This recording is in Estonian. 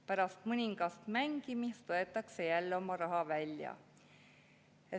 Pärast mõningast mängimist võetakse jälle oma raha välja.